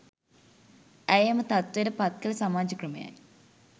ඇය එම තත්ත්වයට පත් කළ සමාජ ක්‍රමයයි